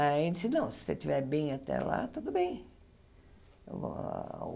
Aí ele disse não, se você estiver bem até lá, tudo bem.